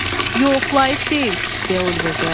"Yox, layiq deyil", deyə Oliver cavab verdi.